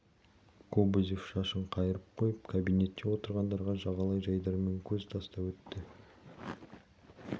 кобозев шашын қайырып қойып кабинетте отырғандарға жағалай жайдарман көз тастап өтті